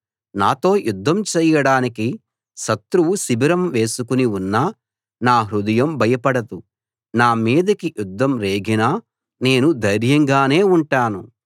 నాతో యుద్ధం చెయ్యడానికి శత్రువు శిబిరం వేసుకుని ఉన్నా నా హృదయం భయపడదు నా మీదకి యుద్ధం రేగినా నేను ధైర్యంగానే ఉంటాను